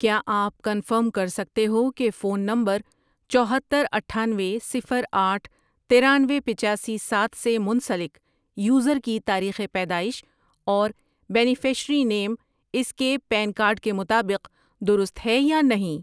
کیا آپ کنفرم کر سکتے ہو کہ فون نمبر چوہتر، اٹھانوے، صفر، آٹھ ،ترانوے، پچاسی، سات، سے منسلک یوزر کی تاریخ پیدائش اور بینیفشیری نِیم اس کے پین کارڈ کے مطابق درست ہے یا نہیں